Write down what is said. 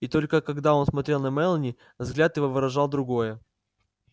и только когда он смотрел на мелани взгляд его выражал другое